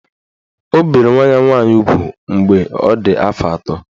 O bere nwa ya nwaanyị ugwu mgbe ọ dị afọ atọ.